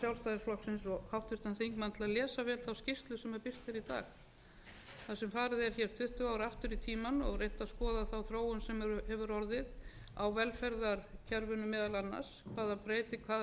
þar sem farið er tuttugu ár aftur í tímann og reynt að skoða þá þróun sem hefur orðið á velferðarkerfinu meðal annars hvaða breytingar